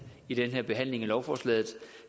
i den her behandling af lovforslaget